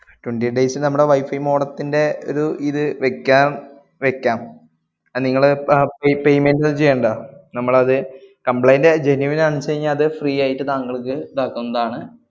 Twenty eight days നമ്മടെ wifi modem ത്തിന്‍റെ ഇത് ദ് വെക്കാം വെക്കാം. അത് നിങ്ങള് അഹ് pa~ payment ഒന്നും ചെയ്യണ്ട. നമ്മളത് complaint genuine ആണന്നുച്ചുകഴിഞ്ഞാ അത്‌ free ആയിട്ട് താങ്കൾക്ക് ദാക്കുന്നതാണ്.